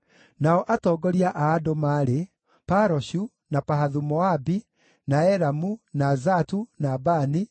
Nao atongoria a andũ maarĩ: Paroshu, na Pahathu-Moabi, na Elamu, na Zatu, na Bani,